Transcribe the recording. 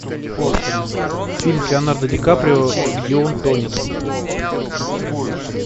фильм с леонардо ди каприо где он тонет